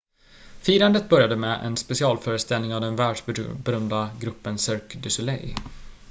firandet började med en specialföreställning av den världsberömda gruppen cirque du soleil